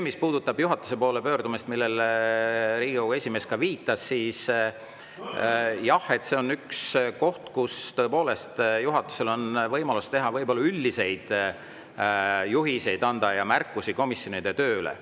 Mis puudutab juhatuse poole pöördumist, millele Riigikogu esimees ka viitas, siis jah, tõepoolest juhatusel on võimalus anda komisjonidele üldiseid juhiseid ja teha märkusi nende töö kohta.